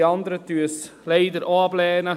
Die anderen lehnen es leider auch ab.